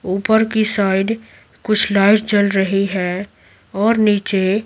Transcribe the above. ऊपर की साइड कुछ लाइट जल रही है और नीचे --